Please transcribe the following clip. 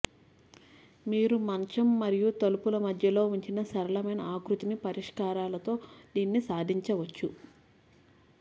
మీరు మంచం మరియు తలుపు మధ్యలో ఉంచిన సరళమైన ఆకృతి పరిష్కారాలతో దీనిని సాధించవచ్చు